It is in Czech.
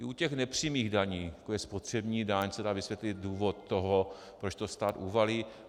I u těch nepřímých daní, jako je spotřební daň, se dá vysvětlit důvod toho, proč to stát uvalí.